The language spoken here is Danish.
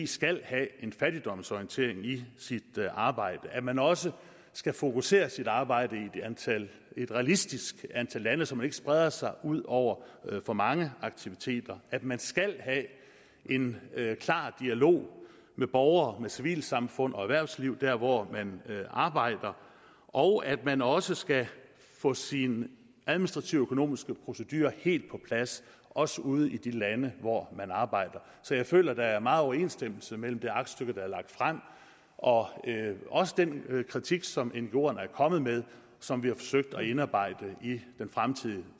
skal have en fattigdomsorientering i sit arbejde at man også skal fokusere sit arbejde i et realistisk antal lande så man ikke spreder sig ud over for mange aktiviteter at man skal have en klar dialog med borgere med civilsamfund og med erhvervsliv der hvor man arbejder og at man også skal få sine administrative og økonomiske procedurer helt på plads også ude i de lande hvor man arbejder så jeg føler der er meget overensstemmelse mellem det aktstykke der er lagt frem og også den kritik som ngoerne er kommet med og som vi har forsøgt at indarbejde i den fremtidige